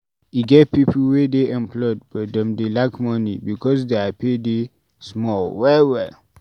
E get pipo wey dey employed but dem dey lack money because their pay dey small well welll